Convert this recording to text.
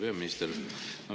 Hea peaminister!